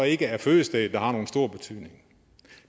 ikke er fødestedet der har nogen stor betydning